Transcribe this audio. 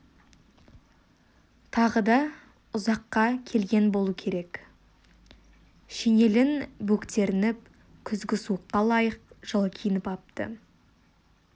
тағы да ұзаққа келген болу керек шинелін бөктерініп күзгі суыққа лайық жылы киініп апты